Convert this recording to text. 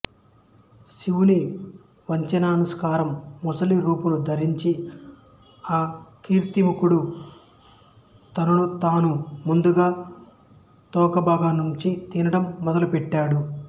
శివుని వచనానుసారం మొసలి రూపును ధరించి ఆ కీర్తిముఖుడు తనను తాను ముందుగా తోకభాగంనుంచి తినటం మొదలు పెట్టాడు